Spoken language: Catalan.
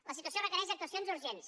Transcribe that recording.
la situació requereix actuacions urgents